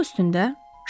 Oğurluq üstündə?